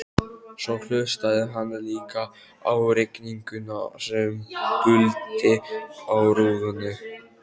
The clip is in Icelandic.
Svo hlustaði hann líka á rigninguna sem buldi á rúðunni.